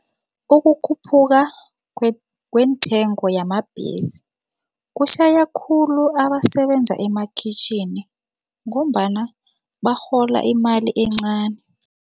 Ukukhuphuka kweentengo yamabhesi kushaya khulu abasebenza emakhitjhini ngombana barhola imali encani.